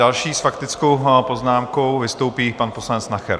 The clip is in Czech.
Další s faktickou poznámkou vystoupí pan poslanec Nacher.